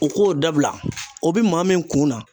U k'o dabila, o bɛ maa min kunna